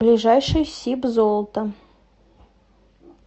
ближайший сибзолото